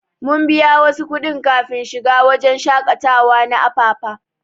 Mun biya wasu kudin kafin shiga wajen shakatawa na Apapa.